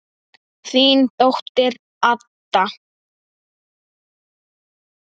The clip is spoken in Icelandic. Þín dóttir, Adda.